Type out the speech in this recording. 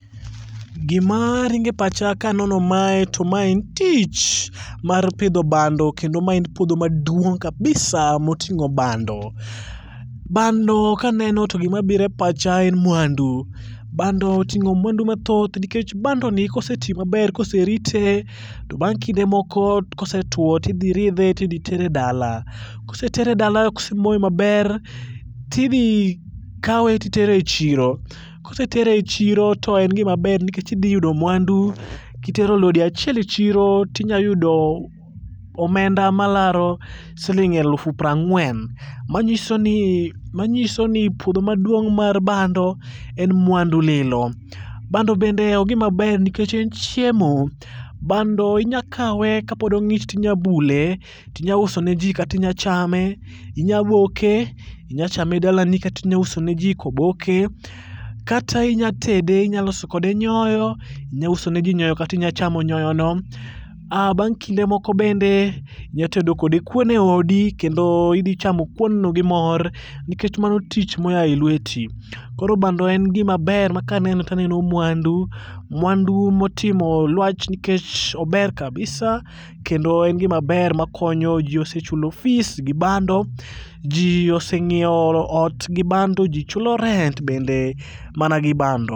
Gimaringe pacha kanono mae to mae en tich mar pidho bando kendo ma en puodho maduong' kabisa] moting'o bando. Bando kaneno to gimabire pacha en muandu. Bando oting'o muandu mathoth nikech bandoni kosetii maber koserite tobang' kinde moko kosetuo tidhiridhe tidhitere dala kosetere dala kosemoe maber tidhikawe titere chiro. Kosetere chiro to en gima ber nikech idhiyudo muandu kitero lori achiel e chiro tinyayudo omenda malaro siling' aluf prang'uen manyisoni puodho maduong' mar bando en muandu lilo. Bando bende ogima ber nikech en chiemo. Bando inyakawe kapod ong'ich tinyabule tinyausonejii katinya chame. Inyaboke, inyachame dalani katinyausoneji koboke kata inyatede, inyaloso kode nyoyo inyausone jii nyoyono kata inyachamo nyoyono. Bang' kinde moko bende inyatedo kode kuon eodi kendo idhichamo kuonno gi mor nikech mano tich moyae lueti. Koro bando en gima ber makaneno taneno muandu. Muandu motimo luach nikech ober kabisa kendo en gima ber makonyo. Jii osechulo fees gi bando, jii oseng'ieo ot gi bando, jichulo rent bende mana gi bando.